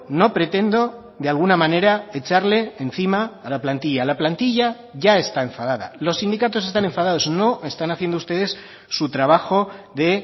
no pretendo de alguna manera echarle encima a la plantilla la plantilla ya está enfadada los sindicatos están enfadados no están haciendo ustedes su trabajo de